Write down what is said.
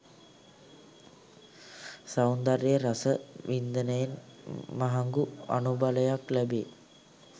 සෞන්දර්යය රස වින්දනයෙන් මහඟු අනුබලයක් ලැබෙයි.